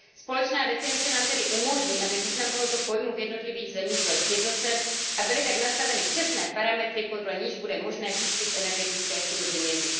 Společná definice nám tedy umožní, aby význam tohoto pojmu v jednotlivých zemích byl sjednocen a byly tak nastaveny přesné parametry, podle nichž bude možné výskyt energetické chudoby měřit.